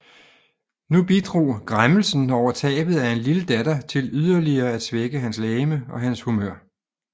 Nu bidrog græmmelsen over tabet af en lille datter til yderligere at svække hans legeme og hans humør